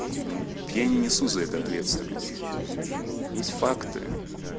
я не несу за это ответственность есть факты